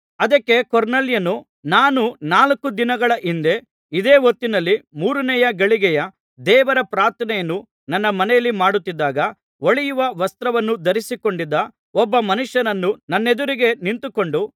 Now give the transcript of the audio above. ಅದಕ್ಕೆ ಕೊರ್ನೇಲ್ಯನು ನಾನು ನಾಲ್ಕು ದಿನಗಳ ಹಿಂದೆ ಇದೇ ಹೊತ್ತಿನಲ್ಲಿ ಮೂರನೇ ಗಳಿಗೆಯ ದೇವರ ಪ್ರಾರ್ಥನೆಯನ್ನು ನನ್ನ ಮನೆಯಲ್ಲಿ ಮಾಡುತ್ತಿದ್ದಾಗ ಹೊಳೆಯುವ ವಸ್ತ್ರವನ್ನು ಧರಿಸಿಕೊಂಡಿದ್ದ ಒಬ್ಬ ಮನುಷ್ಯನು ನನ್ನೆದುರಿಗೆ ನಿಂತುಕೊಂಡು